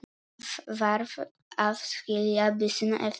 Varð að skilja byssuna eftir.